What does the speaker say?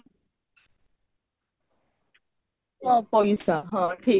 ତ ପଇସା ହଁ ଠିକ